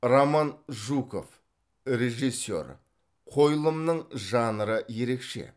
роман жуков режиссер қойылымның жанры ерекше